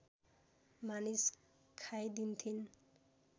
मानिस खाइदिन्थिन्